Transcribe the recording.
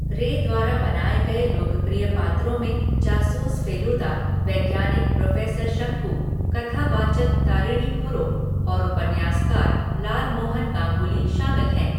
रे द्वारा बनाए गए लोकप्रिय पात्रों में जासूस फ़ेलुदा, वैज्ञानिक प्रोफेसर शंकु, कथावाचक तारिणी खुरो और उपन्यासकार लालमोहन गांगुली शामिल हैं।